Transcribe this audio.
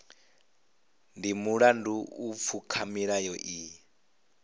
ndi mulandu u pfuka milayo iyi